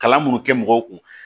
Kalan minnu kɛ mɔgɔw kun